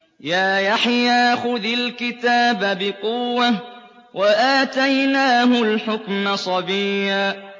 يَا يَحْيَىٰ خُذِ الْكِتَابَ بِقُوَّةٍ ۖ وَآتَيْنَاهُ الْحُكْمَ صَبِيًّا